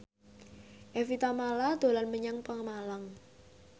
Evie Tamala dolan menyang Pemalang